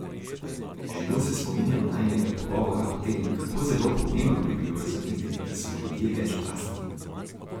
Živo se spominjam najinega pogovora o tem, kako zelo pomembno bi bilo razumeti, da smo ljudje večplastni.